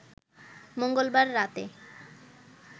মঙ্গলবার রাতে